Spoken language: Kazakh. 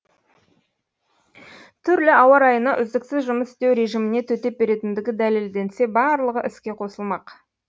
түрлі ауа райына үздіксіз жұмыс істеу режиміне төтеп беретіндігі дәлелденсе барлығы іске қосылмақ